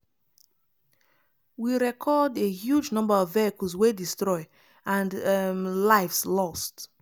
we record a huge number of vehicles wey destroy and um lives lost.